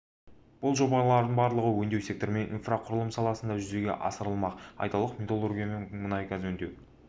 бұл жобалардың барлығы өңдеу секторы мен инфрақұрылым саласында жүзеге асырылмақ айталық металлургия мұнай мен газ өңдеу